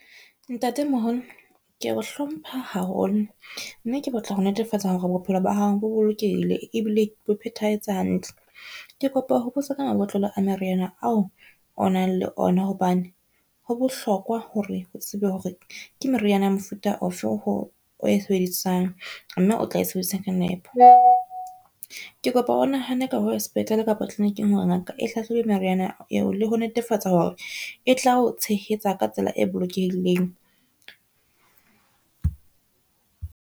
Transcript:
Ntate-moholo ke o hlompha haholo, mme ke batla ho netefatsa hore bophelo ba hao bo bolokehile ebile bo phethahetse hantle. Ke kopa ho botsa ka mabotlolo a meriana ao o nang le ona, hobane ho bohlokwa hore o tsebe hore ke meriana ya mofuta ofe oo e sebedisang, mme o tla e sebedisa ka nepo. Ke kopa o nahane ka ho ya sepetlele kapa tliliniking hore ngaka e hlahlobe meriana eo le ho netefatsa hore e tla o tshehetsa ka tsela e bolokehileng.